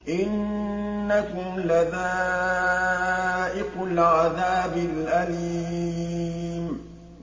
إِنَّكُمْ لَذَائِقُو الْعَذَابِ الْأَلِيمِ